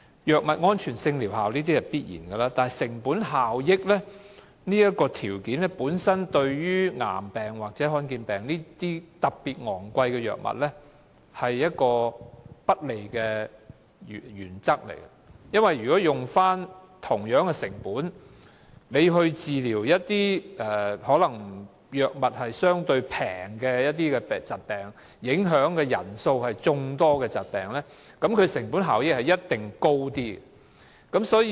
藥物安全性和療效是必然的考慮，但成本效益這一項對患上癌病或罕見疾病而需要昂貴藥物治療的病人而言是不利的，原因是以相同的成本，治療所需藥費較低的疾病或影響人數眾多的疾病，其成本效益必定會較高。